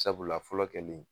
Sabula fɔlɔ kɛlen